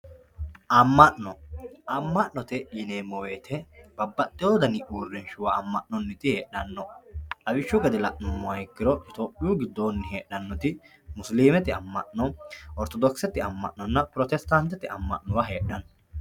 AMa'no, ama'note yineemmo woyte babbaxxewo dani uurrinsha ama'noniti heedhano, lawishshu gede la'nuummoha ikkiro itophiyu giddoni heedhanoti musilimete ama'no, orthodokisete ama'nonna protesittatete ama'no heedhano.